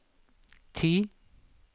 ti